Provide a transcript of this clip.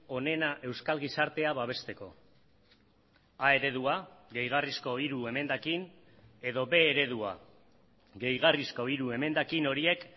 onena euskal gizartea babesteko a eredua gehigarrizko hiru emendakin edo b eredua gehigarrizko hiru emendakin horiek